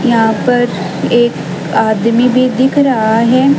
यहां पर एक आदमी भी दिख रहा हैं।